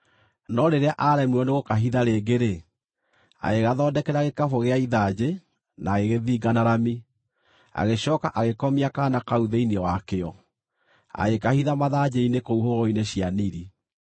No rĩrĩa aaremirwo nĩgũkahitha rĩngĩ-rĩ, agĩgathondekera gĩkabũ gĩa ithanjĩ na agĩgĩthinga na rami. Agĩcooka agĩkomia kaana kau thĩinĩ wakĩo, agĩkahitha mathanjĩ-inĩ kũu hũgũrũrũ-inĩ cia Nili.